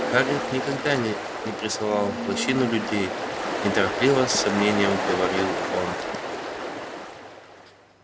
хагрид никогда не не присылал в лощину людей неторопливо с сомнением проговорил он